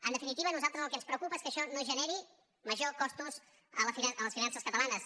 en definitiva a nosaltres el que ens preocupa és que això no generi majors costos a les finances catalanes